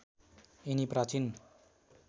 यिनी प्राचीन